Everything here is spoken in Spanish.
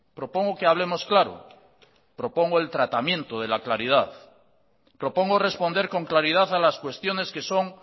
propongo que hablemos claro propongo el tratamiento de la claridad propongo responder con claridad a las cuestiones que son